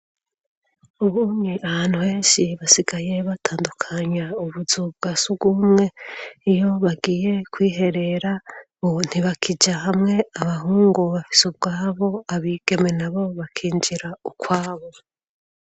Ubunye ahantu henshi basigaye batandukanya ubuzu bwa surwumwe, iyo bagiye kwiherera, ubu ntibakija hamwe abahungu bafise ubwabo abigeme na bo bakinjira ukwabo.